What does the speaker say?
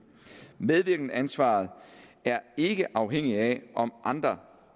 medvirkenansvaret er ikke afhængigt af om andre